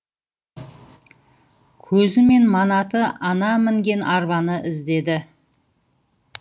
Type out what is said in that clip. көзімен манаты ана мінген арбаны іздеді